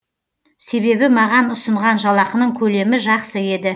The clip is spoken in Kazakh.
себебі маған ұсынған жалақының көлемі жақсы еді